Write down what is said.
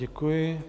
Děkuji.